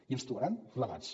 i ens hi trobaran plegats